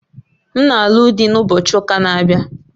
M na-alụ di na ụbochị ụka na-abịa